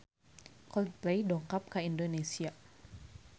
Coldplay dongkap ka Indonesia